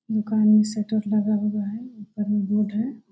दुकान में शटर लगा हुआ है ऊपर बोर्ड है ।